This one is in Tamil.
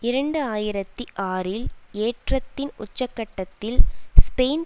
இரண்டு ஆயிரத்தி ஆறில் ஏற்றத்தின் உச்சக்கட்டத்தில் ஸ்பெயின்